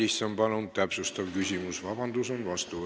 Jaak Madison, palun täpsustav küsimus!